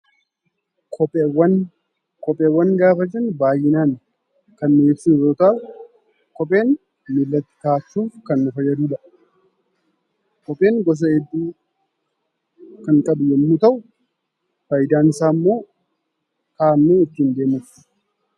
Kopheewwan; Kopheewwan gaafa jennu baayyinaan kan ibsinu yoo ta'u, kopheen miilatti kaawwachuuf kan nu fayyadudha. Kopheen gosa hedduu kan qabu yommuu ta'u faayidaan isaammoo kaawwannee ittiin deemuufi.